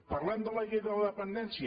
parlem de la llei de la dependència